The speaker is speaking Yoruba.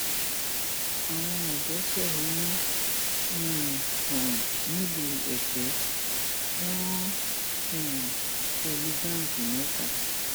àwọn ọdọ fẹhónú um hàn nílùú èpè wọn um kò lu báńkì mẹta